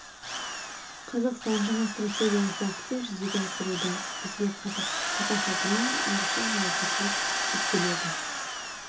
қазақстан жаңа стратегиялық бағытын жүзеге асыруда бізге қазақ халқына айрықша жауапкершілік жүктеледі